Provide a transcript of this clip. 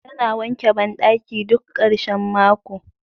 Tana wanke bandaki duk karshen mako.